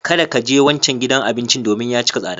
Kada ka je wancan gidan abincin domin ya cika tsada.